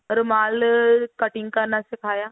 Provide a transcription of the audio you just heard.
ਰੁਮਾਲ ਅਹ cutting ਕਰਨਾ ਸਿਖਾਇਆ